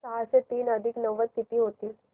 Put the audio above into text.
सहाशे तीन अधिक नव्वद किती होतील